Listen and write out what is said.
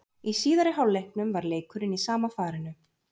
Í síðari hálfleiknum var leikurinn í sama farinu.